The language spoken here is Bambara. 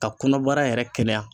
Ka kɔnɔbara yɛrɛ kɛnɛya.